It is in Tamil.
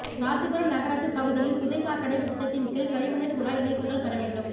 ராசிபுரம் நகராட்சிப் பகுதியில்புதை சாக்கடை திட்டத்தின்கீழ் கழிவுநீா் குழாய்இணைப்புகள் பெற வேண்டும்